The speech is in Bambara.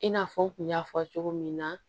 I n'a fɔ n kun y'a fɔ cogo min na